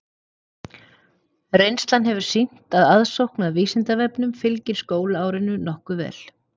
Reynslan hefur sýnt að aðsókn að Vísindavefnum fylgir skólaárinu nokkuð vel.